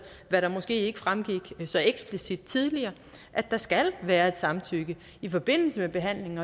hvad der måske ikke fremgik så eksplicit tidligere at der skal være et samtykke i forbindelse med behandlingen